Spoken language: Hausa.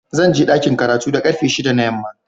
Zan je dakin karatu da karfe shida na yamma.